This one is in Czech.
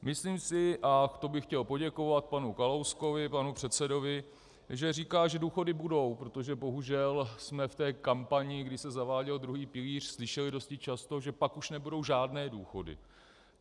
Myslím si, a to bych chtěl poděkovat panu Kalouskovi, panu předsedovi, že říká, že důchody budou, protože bohužel jsme v té kampani, kdy se zaváděl druhý pilíř, slyšeli dosti často, že pak už nebudou žádné důchody.